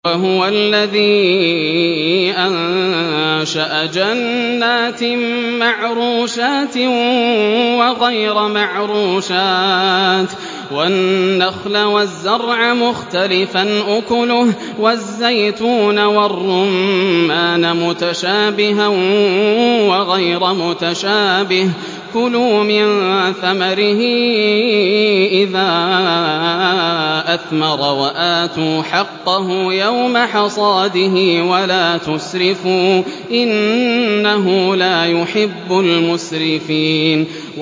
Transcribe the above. ۞ وَهُوَ الَّذِي أَنشَأَ جَنَّاتٍ مَّعْرُوشَاتٍ وَغَيْرَ مَعْرُوشَاتٍ وَالنَّخْلَ وَالزَّرْعَ مُخْتَلِفًا أُكُلُهُ وَالزَّيْتُونَ وَالرُّمَّانَ مُتَشَابِهًا وَغَيْرَ مُتَشَابِهٍ ۚ كُلُوا مِن ثَمَرِهِ إِذَا أَثْمَرَ وَآتُوا حَقَّهُ يَوْمَ حَصَادِهِ ۖ وَلَا تُسْرِفُوا ۚ إِنَّهُ لَا يُحِبُّ الْمُسْرِفِينَ